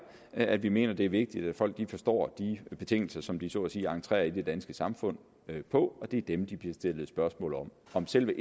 at vi mener at det er vigtigt at folk forstår de betingelser som de så at sige entrerer i det danske samfund på og det er dem der bliver stillet spørgsmål om om selve